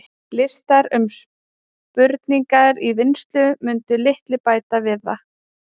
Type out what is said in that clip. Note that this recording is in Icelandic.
Listar um spurningar í vinnslu mundu litlu bæta við það.